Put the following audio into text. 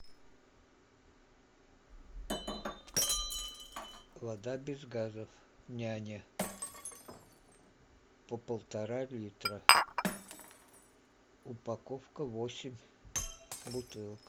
вода без газов няня по полтора литра упаковка восемь бутылок